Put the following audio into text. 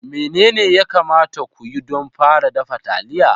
Menene ya kamata ku yi don fara dafa taliya?